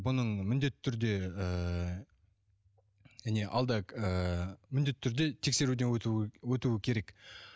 бұның міндетті түрде ыыы алда ыыы міндетті түрде тексеруден өтуі өтуі керек